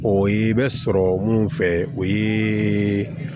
O ye bɛ sɔrɔ mun fɛ o ye